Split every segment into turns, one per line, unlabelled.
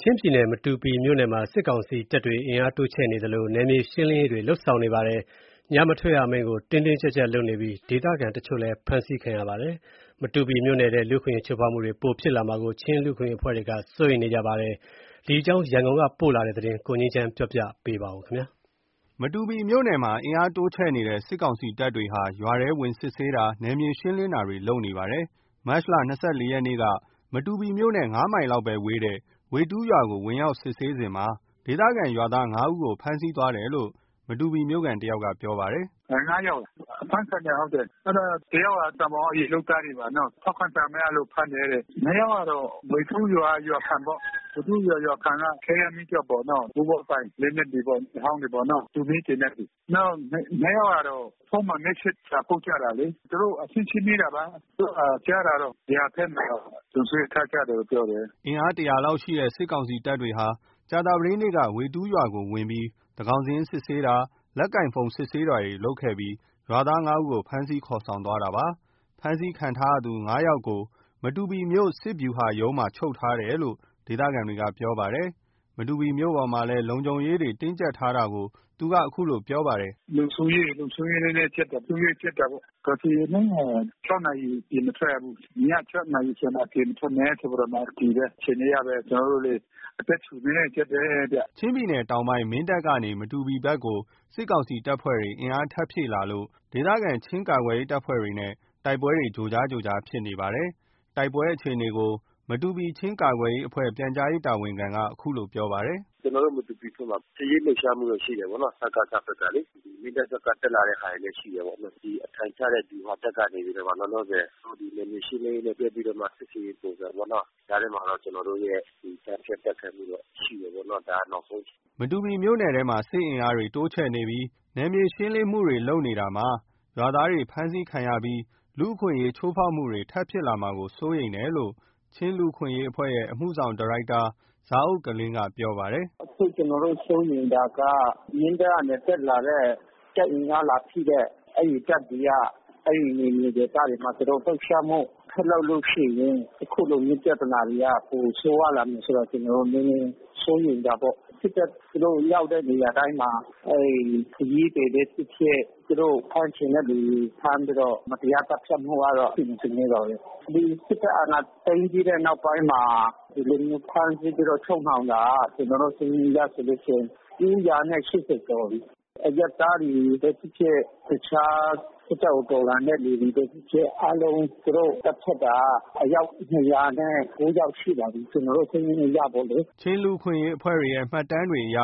ချင်းပြည်နယ်၊ မတူပီမြို့နယ်မှာ စစ်ကောင်စီတပ်တွေ အင်အားတိုးချဲ့နေသလို နယ်မြေရှင်းလင်းရေးတွေ လုပ်ဆောင်နေပါတယ်။ ညမထွက်ရအမိန့်ကို တင်းတင်းကြပ်ကြပ်လုပ်နေပြီး ဒေသခံပြည်သူတချို့လည်း ဖမ်းဆီးခံရပါတယ်။ မတူပီမြို့နယ်ထဲမှာ လူ့အခွင့်အရေးချိုးဖောက်မှုတွေ ပိုဖြစ်လာမှာကို ချင်း လူ့အခွင့်အရေးအဖွဲ့တွေကလည်း စိုးရိမ်နေကြပါတယ်။ ဒီအကြောင်း ရန်ကုန်ကပေးပို့တဲ့သတင်းကို ကိုငြိမ်းချမ်းက ပြောပြပါမယ်။ မတူပီမြို့နယ်မှာ အင်အားတိုးချဲ့နေတဲ့ စစ်ကောင်စီတပ်တွေဟာ ရွာတွေထဲ ဝင်စစ်ဆေးတာ၊ နယ်မြေရှင်းတာတွေ လုပ်နေပါ တယ်။ မတ်လ ၂၄ ရက်နေ့က မတူပီမြို့နဲ့ ၅ မိုင်လောက်ပဲဝေးတဲ့ ဝေတူးရွာကို ဝင်ရောက်စစ်ဆေးစဉ်မှာ ဒေသခံရွာသား ဦးကို ဖမ်းဆီးသွားတယ်လို့ မတူပီမြို့ခံတယောက်က ပြောပြပါတယ်
။ ယောက်အဖမ်းခံထားရတယ်။ ဟုတ်တယ်။ တယောက်က ကန်ဘောင်က ရေလုပ်သားတွေပါနော်။ ထောက်ခံစာမရလို့ ဖမ်းတယ်တဲ့။ နှစ်ယောက်ကတော့ ဝေတူးရွာက ရွာခံပေါ့။ ဝေတူးရွာ ရွာခံက ခဲယမ်းမီးကျောက်ပေါ့နော်။ ဘိုးဘွားပိုင်လက်နက် တွေပေါ့။ အဟောင်းတွေပေါ့ တူမီးသေနတ်တွေ။ နောက်နှစ်ယောက်ကတော့ ဖုန်းမှာ မက်ဆေ့စာပို့ကြတာလေ။ သူတို့ အချင်းချင်း မေးတာပါ။ အခုဟာ ကြားတာတော့ ဗျူဟာဘက်မှာ လုံခြုံရေးချထားတယ်လို့ပြောတယ်။
” အင်အား ၁၀၀ လောက်ရှိတဲ့ စစ်ကောင်စီတပ်တွေဟာ ကြာသပတေးနေ့က ဝေတူးရွာကိုဝင်ပြီးတော့ သန်းခေါင်စာရင်း စစ်ဆေးတာ၊ လက်ကိုင်ဖုန်း စစ်ဆေးတာလုပ်ခဲ့ပြီး ရွာသား ဦးကို ဖမ်းဆီးခေါ်ဆောင်သွားတာပါ။ ဖမ်းဆီးခံထားရသူ ၅ ယောက်ကို မတူပီမြို့ စစ်ဗျူဟာရုံးမှာ ချုပ်ထားတယ်လို့ ဒေသခံတွေကပြောပါတယ်။ မတူပီမြို့ပေါ်မှာလည်း လုံခြုံရေးတွေ တင်းကြပ်ထားတာ ကို သူက ဆက်ပြောပြပါ
တယ်။ “လုံခြုံရေးနည်းနည်းပျက်တယ်။ အုပ်ချုပ်ရေးပျက်တာပေါ့။ ကာဖျူးအမိန့်က နာရီ အပြင်မထွက်ရဘူး။ ည နာရီကျော် အပြင်မထွက်နဲ့ဆိုပြီးတော့မှအတည်ပဲ။ အခြေအနေကလည်း ကျနော်တို့ အသက်ရှူနည်းနည်း ကြပ်တယ်ဗျ။
” ချင်းပြည်တောင်ပိုင်း မင်းတပ်ကနေ မတူပီဘက်ကို စစ်ကောင်စီတပ်ဖွဲ့တွေ အင်အား ထပ်ဖြည့်လာလို့ ဒေသခံ ချင်းကာကွယ်ရေး အဖွဲတွေ့နဲ့လည်း တိုက်ပွဲတွေ ကြိုကြား ကြိုကြားဖြစ်နေပါတယ်။ တိုက်ပွဲအခြေအနေကို မတူပီ ချင်းကာကွယ်ရေးအဖွဲ့ ပြန်ကြား ရေးတာဝန်ခံက ခုလိုပြောပါတယ်။
“ကျနော်တို့ မတူပီဘက်မှာ စစ်ရေးလှုပ်ရှားမှုရှိတာပေါ့နော်။ စကစဘက်ကလေ။ မင်းတပ်ဘက်ကတက်လာတဲ့ဟာလည်း ရှိတယ်။ အထိုင်ချတဲ့ ဗျူဟာဘက်ကလည်း လောလောဆယ် နယ်မြေရှင်းလင်းရေး လှုပ်ရှားပြီးတော့မှ စစ်ဆင်ရေးပုံစံပေါ့နော။ ကြားထဲမှာ ကျနော်တို့ရဲ့ ကြားဖြတ်တိုက်ခိုက်မှုတော့ရှိတာပေါ့နော်။ ဒါနောက်ဆုံးအခြေအ
နေ။” မတူပီမြို့နယ်ထဲမှာ စစ်အင်အားတွေ တိုးချဲ့နေပြီး နယ်မြေရှင်းလင်းမှုတွေ လုပ်နေတာမှာ ရွာသားတွေ ဖမ်းဆီးခံရမှာ လူ့အခွင့်အရေး ချိုးဖောက်မှုတွေ ထပ်ဖြစ်လာမှာကို စိုးရိမ်တယ်လို့ ချင်းလူ့အခွင့်အရေးအဖွဲ့ရဲ့ အမှုဆောင်ဒါရိုက်တာ ဇာအုတ်ကလင်ကပြောပါတယ်။ “
အခု ကျနော်တို့စိုးရိမ်တာက မင်းတပ်ကနေတက်လာတဲ့ တပ်အင်အားလာဖြည့်တဲ့ အဲဒီတပ်တွေက အဲဒီ နယ်မြေ ဒေသတွေ မှာသူတို့လှုပ်ရှားမှု ဆက်လုပ်လို့ရှိရင် အခုလိုမျိုးပြဿနာတွေ ပိုဆိုးဝါးလာမယ်ဆိုတော့ နည်းနည်း စိုးရိမ်တာပေါ့။ စစ်တပ် သူတို့ရောက်တဲ့နေရာတိုင်းမှာ ခရီးသည်ပဲဖြစ်ဖြစ် သူတို့ဖမ်းချင်တဲ့သူဖမ်းပြီးတော့ မတရား သတ်ဖြတ်မှုကတော့ ရှိနေစဉ်ဆဲပါပဲ။ ဒီစစ်တပ်အာဏာသိမ်းပြီးတဲ့နောက်ပိုင်းမှာ ဒီလိုဖမ်းဆီးပြီးချုပ်နှောင်တာက ကျနော်တို့စာရင်းအရဆိုလို့ရှိရင် ကျော်ပြီ။ အရပ်သားတွေပဲဖြစ်ဖြစ် တခြားခုခံတော်လှန်တဲ့သူပဲဖြစ်ဖြစ် အားလုံး သူတို့သတ်ဖြတ်တာ အယောက် ယောက်ရှိပါပြီ။ ကျနော်တို့စာရင်းအရပေါ့လေ။
” ချင်း လူ့အခွင့်အရေးအဖွဲ့တွေရဲ့ မှတ်တမ်းတွေအရ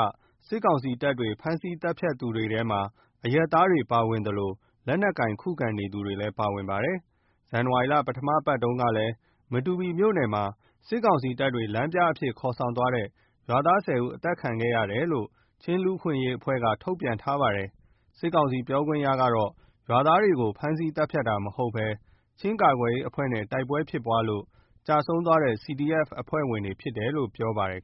စစ်ကောင်စီတပ်တွေ ဖမ်းဆီး သတ်ဖြတ်သူတွေထဲမှာ အရပ်သားတွေ ပါဝင်သလို လက်နက်ကိုင် ခုခံတော်လှန်နေသူတွေလည်း ပါဝင်ပါတယ်။ ဇန်နဝါရီလ ပထမပတ်တုန်းကလည်း မတူပီမြို့ နယ်မှာ စစ်ကောင်စီတပ်တွေ လမ်းပြအဖြစ်ခေါ်ဆောင်သွားတဲ့ ရွာသား ဦး သတ်ဖြတ်ခံရတယ်လို့ ချင်း လူ့အခွင့်အရေးအဖွဲ့က ထုတ်ပြန်ထားပါတယ်။ စစ်ကောင်စီ ပြောခွင့်ရကတော့ ရွာသားတွေကိုဖမ်းဆီးသတ်ဖြတ်တာမဟုတ်ဘဲ ချင်းကာကွယ်ရေးအဖွဲ့နဲ့ တိုက်ပွဲဖြစ်ပွါးလို့ ကျဆုံးသွားတဲ့ CDF အဖွဲ့ဝင်တွေဖြစ်တယ်လို့ ပြောပါတယ်